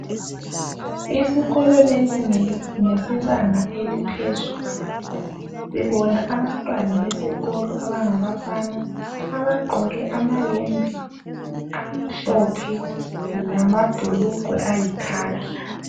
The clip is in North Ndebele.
Isikolo lesi ngesebanga eliphezulu, sibona abantwana besikolo abangabafana abagqoke amayembe amhlophe lamabhulugwe ayikhakhi